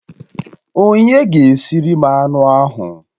Onye ga-esiri m anụ ahụ?